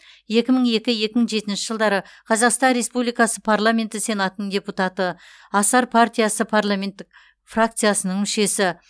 екі мың екі екі мың жетінші жылдары қазақстан республикасы парламенті сенатының депутаты асар партиясы парламенттік фракциясының мүшесі